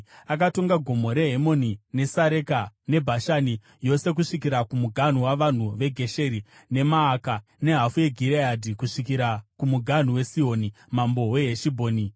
Akatonga Gomo reHemoni, neSareka, neBhashani yose kusvikira kumuganhu wavanhu veGesheri neMaaka, nehafu yeGireadhi kusvikira kumuganhu waSihoni mambo weHeshibhoni.